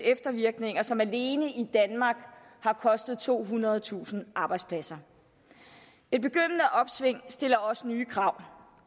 eftervirkninger som alene i danmark har kostet tohundredetusind arbejdspladser et begyndende opsving stiller også nye krav